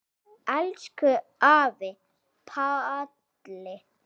Elsku afi Palli.